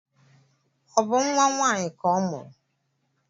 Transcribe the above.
Ọ bụ nwa nwanyị ka ọ mụrụ?